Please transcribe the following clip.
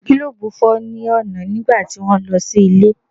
Gílòbù fọ́ ní ọ̀nà nígbà tí mò ń lọ sí ilé.